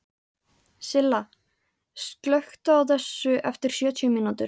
Silla, slökktu á þessu eftir sjötíu mínútur.